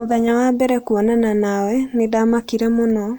Mũthenya wa mbere kuonana nawe, nĩ ndaamakire mũno